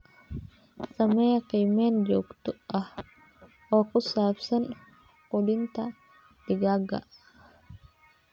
Samee qiimeyn joogto ah oo ku saabsan quudinta digaagga.